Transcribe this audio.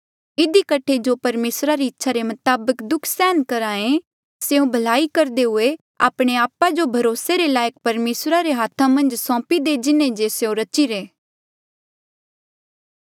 इधी कठे जो परमेसरा री इच्छा रे मताबक दुःख सहन करहे स्यों भलाई करदे हुए आपणे आपा जो भरोसे रे लायक परमेसरा रे हाथा मन्झ सौंपी दे जिन्हें जे स्यों रचिरे